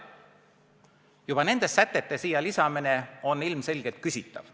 Juba nende sätete lisamine on ilmselgelt küsitav.